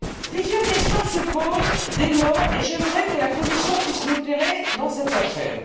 Plusieurs questions se posent, dès lors, et j'aimerais que la Commission puisse nous éclairer dans cette affaire.